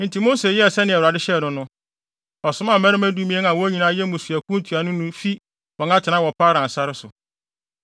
Enti Mose yɛɛ sɛnea Awurade hyɛɛ no no. Ɔsomaa mmarima dumien a wɔn nyinaa yɛ mmusuakuw ntuanofo fi wɔn atenae wɔ Paran sare so.